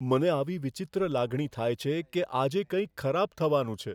મને આવી વિચિત્ર લાગણી થાય છે કે આજે કંઈક ખરાબ થવાનું છે.